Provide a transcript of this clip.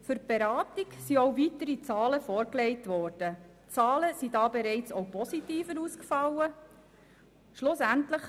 Für die Beratung wurden auch weitere Zahlen vorgelegt, die auch bereits positiver ausgefallen sind.